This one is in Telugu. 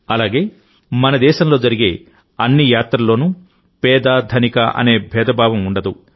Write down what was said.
అలాగే మనదేశంలో జరిగే అన్ని యాత్రల్లోనూ పేదధనిక అనే భేదభావం ఉండదు